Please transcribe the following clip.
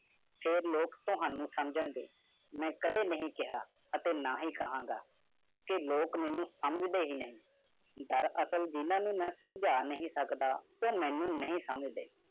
ਜਿਨ੍ਹਾਂ ਨੇ ਤੁਹਾਨੂੰ ਸਮਝਾਇਆ ਮੈਂ ਕਾਦੀ ਨਾ ਖਾਵਾਂ, ਨਾ ਖਾਵਾਂ ਤੁਸੀਂ ਮੇਨੂੰ ਦੀ ਗੱਲ ਨਹੀਂ ਸਮਝੀ ਅਸਲ ਵਿੱਚ ਮੈਂ ਜੀਨਾਹ ਨੂੰ ਨਹੀਂ ਸਮਝਿਆ, ਮੈਂ ਨਹੀਂ ਸਮਝਿਆ